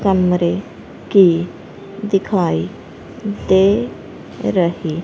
कमरे की दिखाई दे रही--